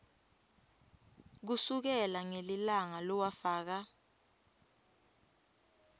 kusukela ngelilanga lowafaka